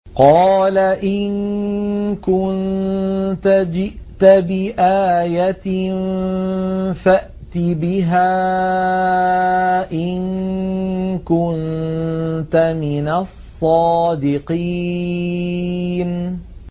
قَالَ إِن كُنتَ جِئْتَ بِآيَةٍ فَأْتِ بِهَا إِن كُنتَ مِنَ الصَّادِقِينَ